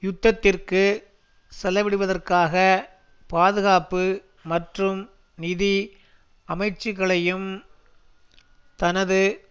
யுத்தத்திற்கு செலவிடுவதற்காக பாதுகாப்பு மற்றும் நிதி அமைச்சுக்களையும் தனது